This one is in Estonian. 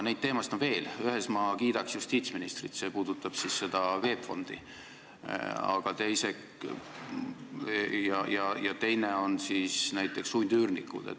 Ühe asja eest ma kiidaks justiitsministrit, see puudutab VEB Fondi, ja teine on näiteks sundüürnikud.